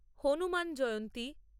Hanuman Jayanti